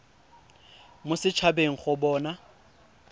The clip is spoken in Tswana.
mo set habeng go bona